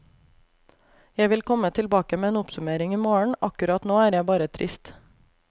Jeg vil komme tilbake med en oppsummering imorgen, akkurat nå er jeg bare trist.